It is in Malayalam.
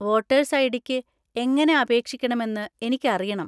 വോട്ടേഴ്‌സ് ഐ.ഡി.ക്ക് എങ്ങനെ അപേക്ഷിക്കണമെന്ന് എനിക്കറിയണം.